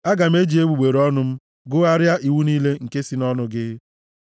Aga m eji egbugbere ọnụ m gụgharịa iwu niile nke si nʼọnụ gị.